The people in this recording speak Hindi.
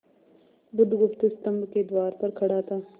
बुधगुप्त स्तंभ के द्वार पर खड़ा था